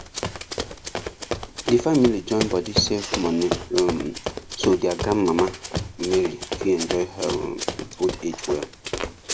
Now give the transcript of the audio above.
d family join body save moni um so their grand mama mary fit enjoy her um old age well